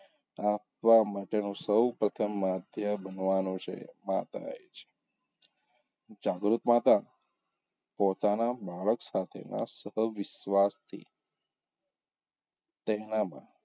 આપવાં માટેનો સૌ પ્રથમ આધ્યા બનવાનો છે માતાએ જ જાગૃત માતા પોતાનાં બાળક સાથેનાં સહવિશ્વાસથી તેનામાં,